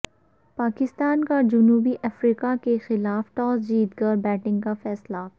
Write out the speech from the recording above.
پاکستان کاجنوبی افریقہ کیخلاف ٹاس جیت کر بیٹنگ کا فیصلہ